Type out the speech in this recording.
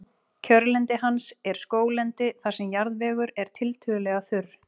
kjörlendi hans er skóglendi þar sem jarðvegur er tiltölulega þurr